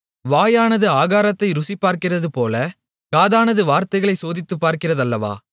வாயானது ஆகாரத்தை ருசிபார்க்கிறதுபோல காதானது வார்த்தைகளைச் சோதித்துப்பார்க்கிறதல்லவா